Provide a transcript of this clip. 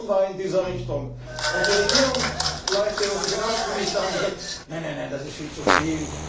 Die Kommission war in dieser Richtung, und die Regierungsleute und die Finanzminister haben gesagt Nein, nein, nein, das ist viel zu viel!,